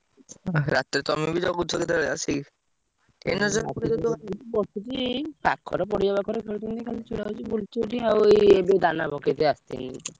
ରାତିରେ ତମେବି ତ ଜଗୁଛ ଆସିକି ପାଖରେ ପଡିଆ ପାଖରେ ଖେଳୁଛନ୍ତି ଆଉ ଏବେ ଦାନା ପକେଇଦେଇ ଆସିଲି।